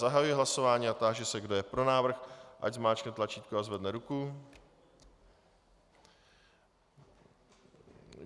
Zahajuji hlasování a táži se, kdo je pro návrh, ať zmáčkne tlačítko a zvedne ruku.